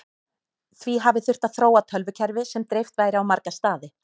því hafi þurft að þróa tölvukerfi sem dreift væri á marga staði